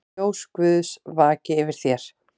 Ljós Guðs vaki yfir þér.